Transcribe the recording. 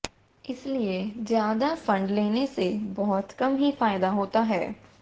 इसीलिए ज्यादा फंड लेने से बहुत कम ही फायदा होता है